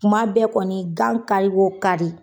Kuma bɛɛ kɔni gan kari wo kari